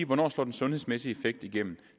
hvornår slår den sundhedsmæssige effekt igennem